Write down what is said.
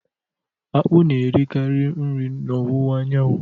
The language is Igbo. Akpụ na-erikarị nri n'ọwụwa anyanwụ